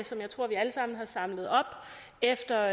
som jeg tror vi alle sammen har samlet op efter